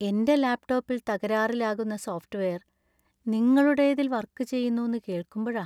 എന്‍റെ ലാപ്ടോപ്പിൽ തകരാറിലാകുന്ന സോഫ്റ്റ് വെയർ നിങ്ങളുടേതില്‍ വര്‍ക്കു ചെയ്യുന്നൂന്ന് കേൾക്കുമ്പഴാ.